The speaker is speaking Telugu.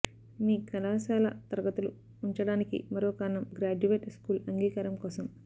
మీ కళాశాల తరగతులు ఉంచడానికి మరో కారణం గ్రాడ్యుయేట్ స్కూల్ అంగీకారం కోసం